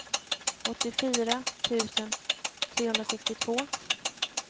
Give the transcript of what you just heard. åttiofyra tusen trehundrasextiotvå